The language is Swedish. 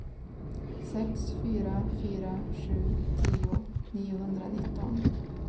sex fyra fyra sju tio niohundranitton